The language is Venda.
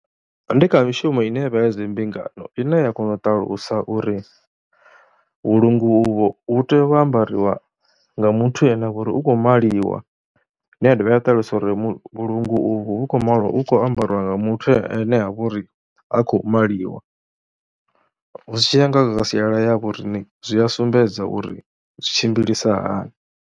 Ndi kha mishumo ine vha ya zwi mbingano ine ya kona u ṱalusa uri vhulunga uvho hu tea u ambariwa nga muthu ane a vha uri u khou maliwa, ine ya dovha ya ṱalusa uri mu vhulungu uvhu vhu kho maliwa hu kho ambariwa nga muthu ane ha vha uri ha khou maliwa. Zwi tshi ya nga siala ya vho riṋe zwi a sumbedza uri zwi tshimbilisa hani.